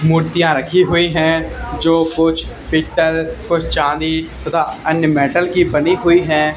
मूर्तियां रखी हुई है जो कुछ पीतल और चांदी तथा अन्य मेटल की बनी हुई है।